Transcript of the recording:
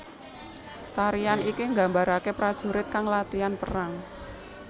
Tarian iki gambarake prajurit kang latihan perang